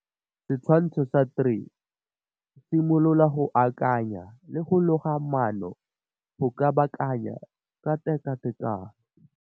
Setshwantsho sa 3. Simolola go akanaya le go loga maano go kabakanya ka tekatekano.